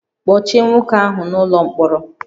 Kpọchie nwoke ahụ n'ụlọ mkpọrọ